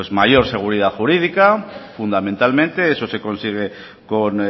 mayor seguridad jurídica fundamentalmente eso se consigue con